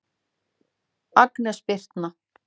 Agnes Birtna.